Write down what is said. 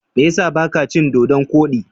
Me ya sa ba ka cin Dodon kodi?